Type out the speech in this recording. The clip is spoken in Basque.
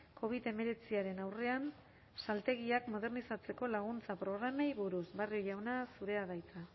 covid hemeretziaren aurrean saltegiak modernizatzeko laguntza programei buruz barrio jauna zurea da hitza